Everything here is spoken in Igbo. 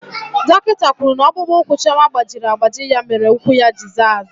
Dọkịta kwuru na ọkpụkpụ ụkwụ Chioma gbajiri agbaji ya mere ụkwụ ya ji zaa aza.